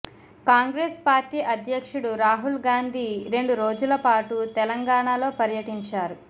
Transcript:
Congress party అధ్యక్షుడు రాహుల్ గాంధీ రెండు రోజుల పాటు తెలంగాణలో పర్యటించారు